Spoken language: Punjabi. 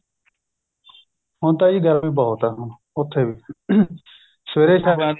ਹੁਣ ਤਾਂ ਜੀ ਗਰਮੀ ਬਹੁਤ ਆ ਹੁਣ ਉੱਥੇ ਵੀ ਸਵੇਰੇ ਸ਼ਾਮ